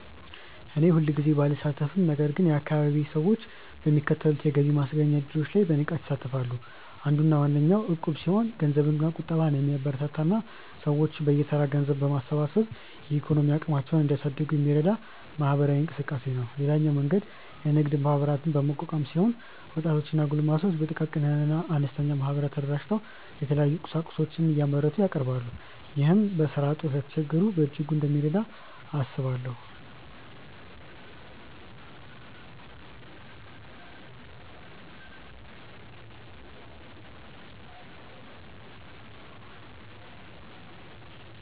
እኔ ሁልጊዜ ባልሳተፍም ነገር ግን የአካባቢዬ ሰዎች በሚከተሉት የገቢ ማስገኛ እድሎች ላይ በንቃት ይሳተፋሉ። አንዱና ዋነኛው እቁብ ሲሆን ገንዘብ ቁጠባን የሚያበረታታ እና ሰዎች በየተራ ገንዘብ በማሰባሰብ የኢኮኖሚ አቅማቸውን እንዲያሳድጉ የሚረዳ ማህበራዊ እንቅስቃሴ ነው። ሌላኛው መንገድ የንግድ ማህበራትን በማቋቋም ሲሆን ወጣቶች እና ጎልማሶች በጥቃቅንና አነስተኛ ማህበራት ተደራጅተው የተለያዩ ቁሳቁሶችን እያመረቱ ያቀርባሉ። ይህ በስራ እጦት ለተቸገሩት በእጅጉ እንደሚረዳ አስባለሁ።